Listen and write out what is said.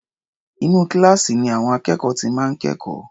Inú kíláàsì ni àwọn akẹ́kọ̀ọ́ ti máa ń kẹ́kọ̀ọ́.